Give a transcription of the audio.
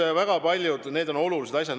Nii et väga paljud asjad ja need on olulised asjad.